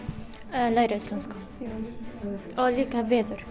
að læra íslensku og líka veður